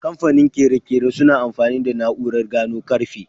Kamfanin ƙere-ƙere suna amfani da na'urar gano karfe.